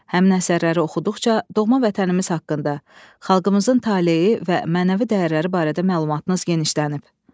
Həmin əsərləri oxuduqca doğma vətənimiz haqqında, xalqımızın taleyi və mənəvi dəyərləri barədə məlumatınız genişlənib.